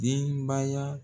Denbaya.